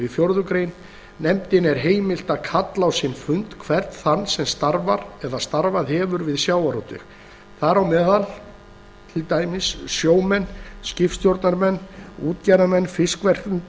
fjórða grein nefndinni er heimilt að kalla á sinn fund hvern þann sem starfar eða starfað hefur við sjávarútveg þar með talið sjómenn skipstjórnarmenn útgerðarmenn fiskverkendur